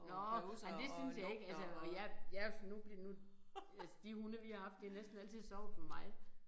Nåh men det synes jeg ikke altså og jeg jeg jo sådan nu nu altså de hunde vi har haft de har næsten altid sovet ved mig